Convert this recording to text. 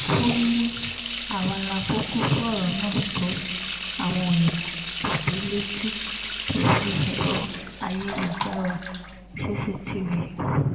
ó ní àwa la kúkú fọ̀rọ̀ náà tó àwọn òbí létí lórí ẹ̀rọ ayélujára cctv